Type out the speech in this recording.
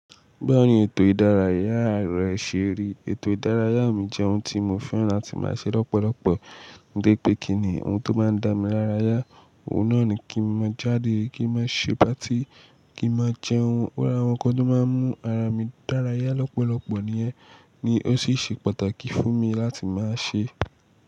Báwo ni ètò ìdárayá rẹ ṣe rí? Ètò ìdárayá mi jẹ́ ohun tí mo fẹ́ràn láti máa ṣe lọ́pọ̀lọpọ̀. Torí pé kí ni ohun tó máa ń dá mi lárayá, òun náà ni kí n má jáde, kí n má ṣe patí, kí n má jẹ ohun ó rá wọn kọ ló máa ń mú ara mi dárayá lọ́pọ̀lọpọ̀. Nìyẹn ni ó sì ṣe pàtàkì fún mi láti máa ṣe.